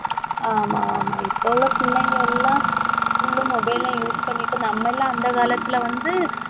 ஆமா ஆமா இப்ப உள்ள பிள்ளைங்க எல்லாம் full உம் mobile லையும் use பண்ணிட்டு நம்ம எல்லாம் அந்த காலத்துல வந்து